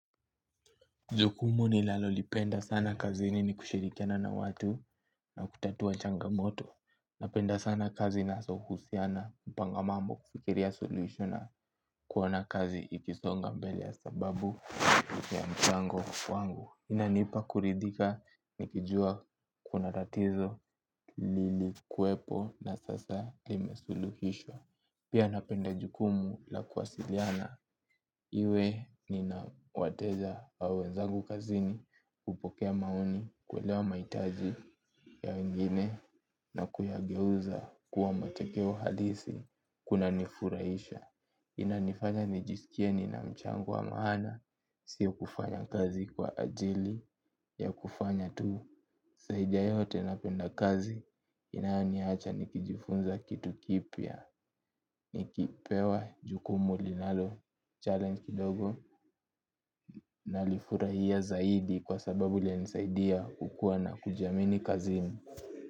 Jukumu nilalolipenda sana kazini ni kushirikiana na watu na kutatua changamoto. Napenda sana kazi naso husiana mpango wa mambo kufikiria suluhisho na kuona kazi ikisonga mbele ya sababu ya mchango wangu. Inanipa kuridhika nikijua kuna tatizo lilikwepo na sasa limesuluhishwa. Pia napenda jukumu la kuwasiliana. Iwe nina wateja au wenzangu kazini hupokea maoni kuelewa maitaji ya wengine na kuyageuza kuwa matokeo halisi. Kunanifurahisha. Inanifanya nijisikie nina mchango wa maana. Sio kufanya kazi kwa ajili ya kufanya tu saidi ya yote napenda kazi inayoniacha nikijifunza kitu kipya. Nikipewa jukumu linalo challenge kidogo nalifurahia zaidi kwa sababu linanisaidia kukuwa na kujiamini kazini.